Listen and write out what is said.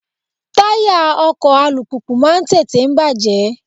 Táyà ọkọ̀ alùpùpù máa ń tètè bàjẹ́.